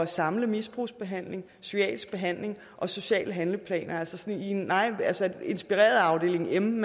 samle misbrugsbehandling psykiatrisk behandling og sociale handleplaner inspireret af afdeling m